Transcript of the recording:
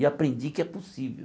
E aprendi que é possível.